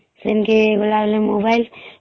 ସେନକି ଗଲା ବେଲେ mobile